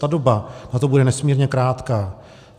Ta doba na to bude nesmírně krátká.